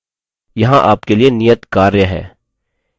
यहाँ आपके लिए नियतकार्य है